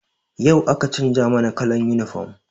Yau aka canza mana kallan yunifom